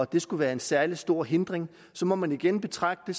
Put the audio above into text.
det skulle være en særlig stor hindring så må man igen betragte